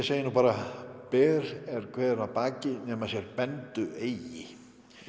segi nú bara ber er hver að baki nema sér bendu eigi